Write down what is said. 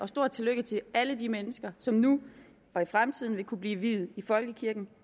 stort tillykke til alle de mennesker som nu og i fremtiden vil kunne blive viet i folkekirken